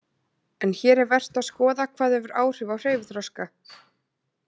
En hér er vert að skoða hvað hefur áhrif á hreyfiþroska.